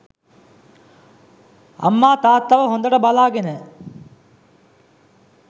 අම්මා තාත්තව හොඳට බලාගෙන